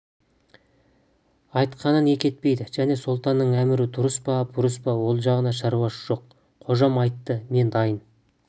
айтқанын екі етпейді және сұлтанның әмірі дұрыс па бұрыс па ол жағында шаруасы жоқ қожам айтты мен дайын